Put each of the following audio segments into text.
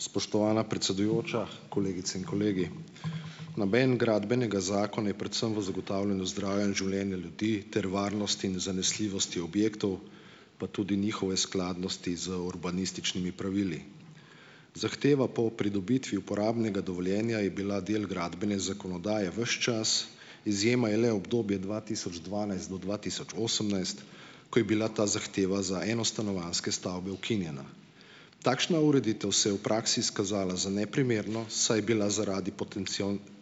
Spoštovana predsedujoča, kolegice in kolegi. Namen Gradbenega zakona je predvsem v zagotavljanju zdravja in življenja ljudi ter varnost in zanesljivosti objektov, pa tudi njihove skladnosti z urbanističnimi pravili. Zahteva po pridobitvi uporabnega dovoljenja je bila del gradbene zakonodaje ves čas, izjema je le obdobje dva tisoč dvanajst do dva tisoč osemnajst, ko je bila ta zahteva za enostanovanjske stavbe ukinjena. Takšna ureditev se v praksi izkazala za neprimerno, saj je bila zaradi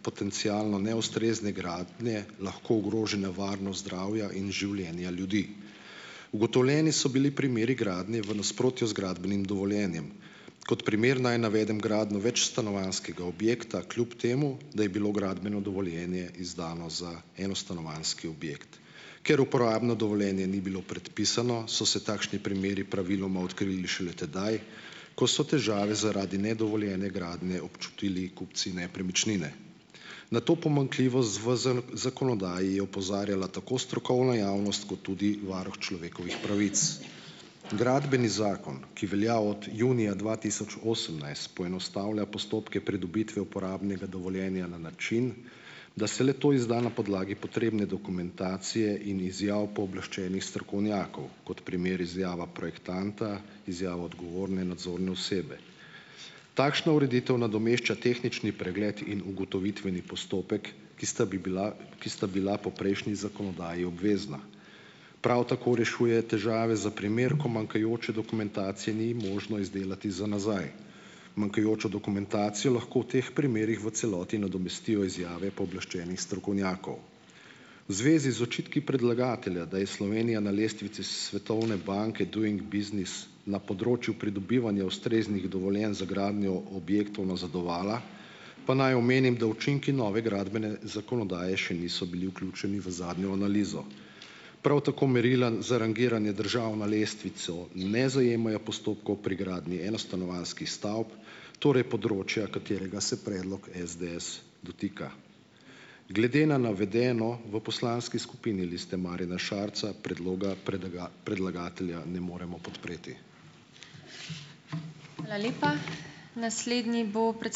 potencialno neustrezne gradnje lahko ogrožena varnost zdravja in življenja ljudi. Ugotovljeni so bili primeri gradnje v nasprotju z gradbenim dovoljenjem. Kot primer naj navedem gradnjo večstanovanjskega objekta kljub temu, da je bilo gradbeno dovoljenje izdano za enostanovanjski objekt. Ker uporabno dovoljenje ni bilo predpisano, so se takšni primeri praviloma odkrili šele tedaj, ko so težave zaradi nedovoljene gradnje občutili kupci nepremičnine. Na to pomanjkljivost v zakonodaji je opozarjala tako strokovna javnost kot tudi varuh človekovih pravic. Gradbeni zakon , ki velja od junija dva tisoč osemnajst, poenostavlja postopke pridobitve uporabnega dovoljenja na način, da se le-to izda na podlagi potrebne dokumentacije in izjav pooblaščenih strokovnjakov, kot primer izjava projektanta, izjava odgovorne nadzorne osebe. Takšno ureditev nadomešča tehnični pregled in ugotovitveni postopek, ki sta bi bila, ki sta bila po prejšnji zakonodaji obvezna. Prav tako rešuje težave za primer, ko manjkajoče dokumentacije ni možno izdelati za nazaj. Manjkajočo dokumentacijo lahko v teh primerih v celoti nadomestijo izjave pooblaščenih strokovnjakov. Zvezi z očitki predlagatelja, da je Slovenija na lestvici Svetovne banke Doing Business na področju pridobivanja ustreznih dovoljenj za gradnjo objektov nazadovala, pa naj omenim, da učinki nove gradbene zakonodaje še niso bili vključeni v zadnjo analizo. Prav tako merila za rangiranje držav na lestvico ne zajemajo postopkov pri gradnji enostanovanjskih stavb, torej področja, katerega se predlog SDS dotika. Glede na navedeno v poslanski skupini Liste Marjana Šarca predloga predlagatelja ne moremo podpreti.